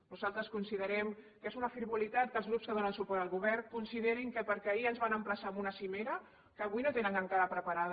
nosaltres considerem que és una frivolitat que els grups que donen suport al govern considerin que perquè ahir ens van emplaçar a una cimera que avui no tenen encara preparada